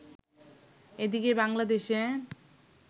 এদিকে বাংলাদেশে